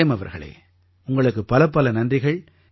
frame அவர்களே உங்களுக்குப் பலப்பல நன்றிகள்